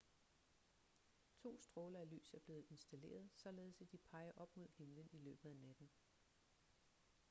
to stråler af lys er blevet installeret således at de peger op mod himlen i løbet af natten